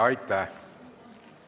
Aitäh!